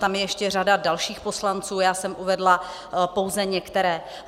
Tam je ještě řada dalších poslanců, já jsem uvedla pouze některé.